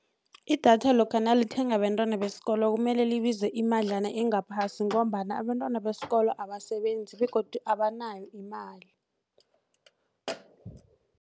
Idatha lokha nalithengwa bentwana besikolo kumele libize imadlana engaphasi ngombana abentwana besikolo abasebenzi begodu abanayo imali.